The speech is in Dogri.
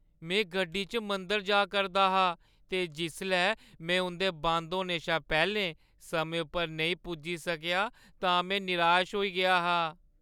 में गड्डी च मंदर जा करदा हा ते जिसलै में उंʼदे बंद होने शा पैह्‌लें समें उप्पर नेईं पुज्जी सकेआ तां में निराश होई गेआ हा।